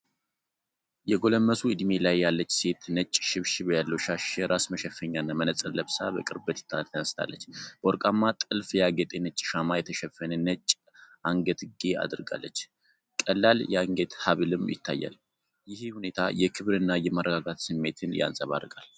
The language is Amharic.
የጎለመሱ ዕድሜ ላይ ያለች ሴት ነጭ ሽብሽብ ያለው ሻሽ የራስ መሸፈኛና መነጽር ለብሳ በቅርበት ተነስታለች። በወርቃማ ጥልፍ ያጌጠ ነጭ ሻማ የተሸፈነ ነጭ አንገትጌ አድርጋለች፤ ቀላል የአንገት ሀብልም ይታያል። ይህ ሁኔታ የክብርና የመረጋጋት ስሜትን ያንጸባርቃል።